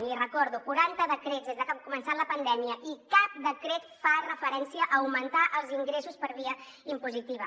l’hi recordo quaranta decrets des de que ha començat la pandèmia i cap decret fa referència a augmentar els ingressos per via impositiva